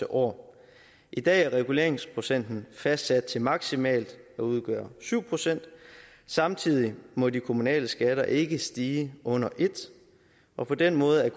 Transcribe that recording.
år i dag er reguleringsprocenten fastsat til maksimalt at udgøre syv procent samtidig må de kommunale skatter ikke stige under et og på den måde